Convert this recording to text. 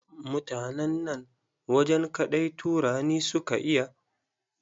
Mutanen nan wajen kaɗai Turani su ka iya.